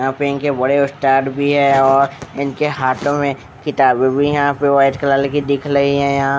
यहाँ पे इनके बड़े उस्ताद भी है और और इनके हाथों में किताबे भी यहाँ पे व्हाइट कलर दिख लही है यहाँ --